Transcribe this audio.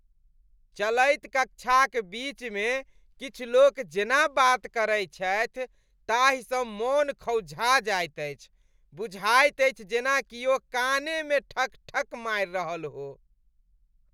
चलैत कक्षाक बीचमे किछु लोक जेना बात करैत छथि ताहिसँ मन खौंझा जाइत अछि, बुझाइत अछि जेना किओ कानेमे ठकठक मारि रहल हो।